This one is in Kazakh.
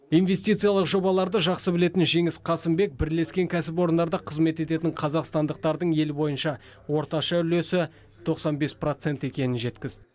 инвестициялық жобаларды жақсы білетін жеңіс қасымбек бірлескен кәсіпорындарда қызмет ететін қазақстандықтардың ел бойынша орташа үлесі тоқсан бес процент екенін жеткізді